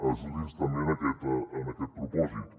ajudi’ns també en aquest propòsit